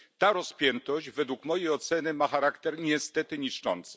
Ta rozpiętość według mojej oceny ma charakter niestety niszczący.